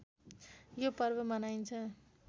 यो पर्व मनाइन्छ